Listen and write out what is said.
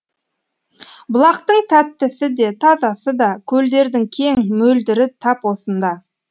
бұлақтың тәттісі де тазасы да көлдердің кең мөлдірі тап осында